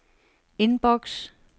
indboks